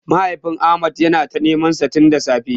Mahaifin Ahmad yana ta nemansa tin da safe.